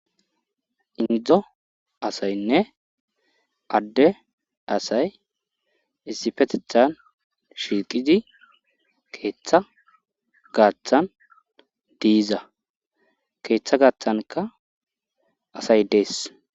indzo asaynne adde asay issipetethan shiqizi keeththa gaaththan diiza keeththa gaaththanka asay dees